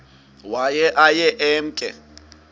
waye aye emke